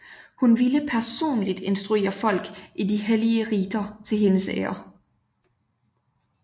Hun ville personligt instruere folk i de hellige riter til hendes ære